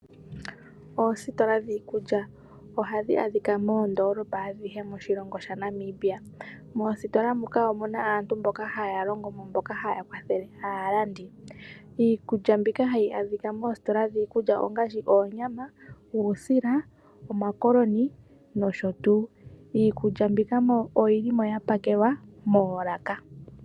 Oositola dhiikulya ohadhi adhika moondoolopa adhihe moshilongo shaNamibia. Moositola muka omuna aantu mboka hayalongomo mboka hayakwathele aalandi. Iikulya mbika hayi adhika moositola dhiikulya ongaashi oonyama, uusila omakoloni nosho tuu. Iikulya mbika oyilimo yapakelwa moolaka.